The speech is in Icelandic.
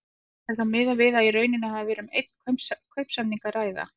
Er þá miðað við að í raun hafi verið um einn kaupsamning að ræða.